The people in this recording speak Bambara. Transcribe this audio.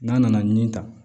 N'a nana nin ta